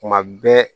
Kuma bɛɛ